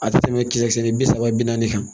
A tɛ tɛmɛ kile kelen bi saba bi naani kan